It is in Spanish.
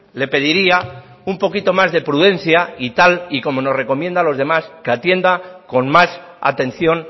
le pediría un poquito más de prudencia y tal y como nos recomienda a los demás que atienda con más atención